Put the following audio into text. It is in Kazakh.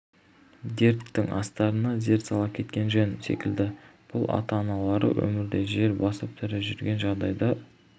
дерттің астарына зер сала кеткен жөн секілді бұл ата-аналары өмірде жер басып тірі жүрген жағдайда